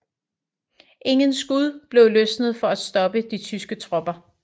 Ingen skud blev løsnet for at stoppe de tyske tropper